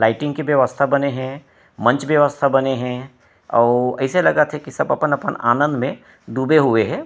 Lighting के व्यवस्था बने हे मंच व्यवस्था बने हे अऊ अइसे लगा थे की सब अपन-अपन आनंद मे डूबे हुए हे।